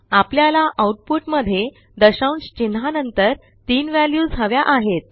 आपल्याला आउटपुट मध्ये दशांशचिन्हानंतर तीन व्हॅल्यूज हव्या आहेत